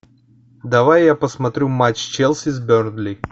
давай я посмотрю матч челси с бернли